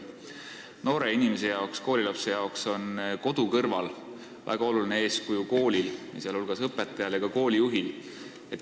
Noore inimese jaoks, koolilapse jaoks on kodu kõrval väga oluline ka kooli, sh õpetaja ja koolijuhi eeskuju.